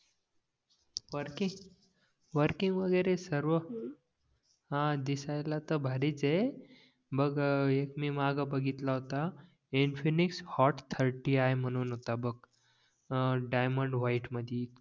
working working वगैरे सर्व हां दिसायला तर भारीच आहे बघ एक मी माघ बघितला होता इनफिनिक्स हॉट थर्टी आय म्हणून होता बघ अं डायमंड व्हाईट मध्ये